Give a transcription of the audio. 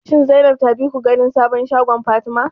Shin Zainab ta bi ku ganin sabon shagon Fatima?